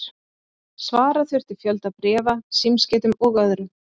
Svara þurfti fjölda bréfa, símskeytum og öðru.